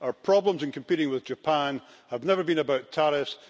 Our problems in competing with Japan have never been about tariffs.